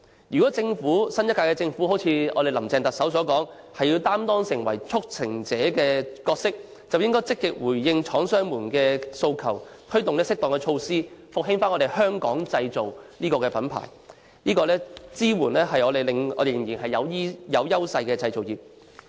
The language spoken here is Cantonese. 如果新一屆政府真的如特首"林鄭"所言，要擔當"促成者"的角色，便應該積極回應廠商們的訴求，推出適當措施復興香港製造的品牌，支援仍然具有優勢的製造業。